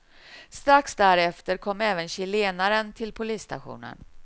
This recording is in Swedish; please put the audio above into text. Strax därefter kom även chilenaren till polisstationen.